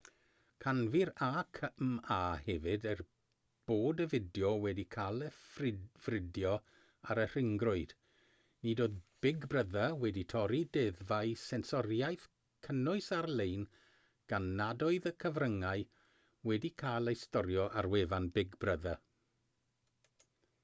canfu'r acma hefyd er bod y fideo wedi cael ei ffrydio ar y rhyngrwyd nid oedd big brother wedi torri deddfau sensoriaeth cynnwys ar-lein gan nad oedd y cyfryngau wedi cael eu storio ar wefan big brother